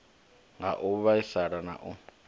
ha u vhaisala na u